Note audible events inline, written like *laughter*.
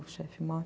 O chefe *unintelligible*